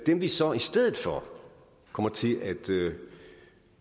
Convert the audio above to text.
dem vi så i stedet for kommer til